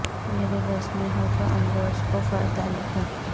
میرے بس میں ہو تو امروز کو فردا لکھوں